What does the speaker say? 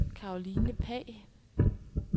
Karoline Pagh